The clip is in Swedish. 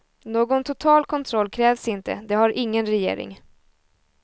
Någon total kontroll krävs inte, det har ingen regering.